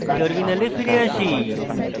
terminal ফিরে আসি